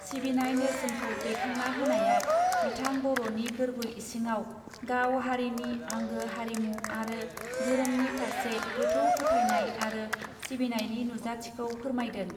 सिबिनाय नेर्सोनखौ दैखांना होनाया बिथां बरनि गोर्बो इसिङाव गाव हारिनि आंगो हारिमु आरो धोरोमनि फार्से गोथौ फोथायनाय आरो सिबिनायनि नुजाथिखौ फोरमायदों.